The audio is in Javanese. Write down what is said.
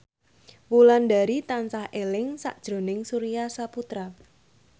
Wulandari tansah eling sakjroning Surya Saputra